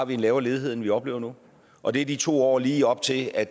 vi en lavere ledighed end vi oplever nu og det er de to år lige op til at